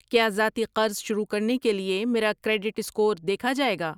کیا ذاتی قرض شروع کرنے کے لیے میرا کریڈٹ سکور دیکھا جائے گا؟